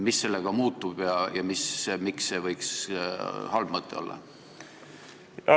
Mis sellega muutuks ja miks see võiks halb mõte olla?